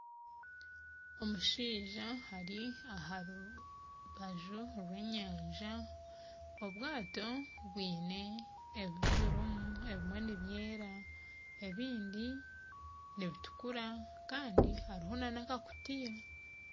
Omushaija ari aha rubaju rw'enyanja obwato bwine ebirimu ebimwe nibyera ebindi nibitukura kandi hariho nana akakutiya